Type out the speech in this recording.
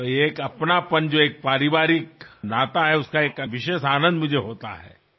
ఈ ఆత్మీయత ఒక కుటుంబంలాంటి అనుబంధం నాకెంతో ఆనందాన్ని ఇస్తాయి